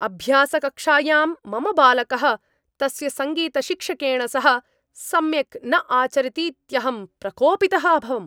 अभ्यासकक्षायां मम बालकः तस्य सङ्गीतशिक्षकेन सह सम्यक् न आचरतीत्यहं प्रकोपितः अभवम्।